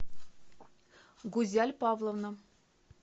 гузяль павловна